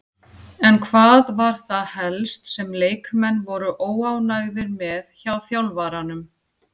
En hvað var það helst sem leikmenn voru óánægðir með hjá þjálfaranum?